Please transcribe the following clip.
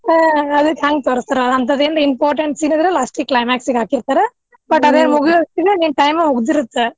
ಹಾ ಅದ್ಕ ಹಂಗ್ ತೋರಸ್ತಾರ ಅಂತದ್ದೇನಾರ impotent scene ಇದ್ರ last climax ಗ್ ಹಾಕಿರ್ತಾರ but ಅದೆ ಮುಗಿಯೋವಸ್ಟಿಗೆ ನಿಮ್ time ಮುಗ್ದಿರುತ್ತ